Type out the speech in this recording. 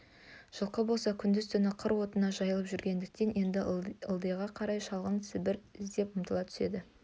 жылқы болса күндіз-түн қыр отына жайылып жүргендіктен енді ылдиға қарай шалғын-сібер іздеп ұмтыла түседі